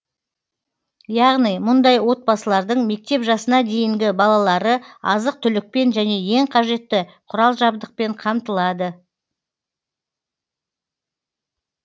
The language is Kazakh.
яғни мұндай отбасылардың мектеп жасына дейінгі балалары азық түлікпен және ең қажетті құрал жабдықпен қамтылады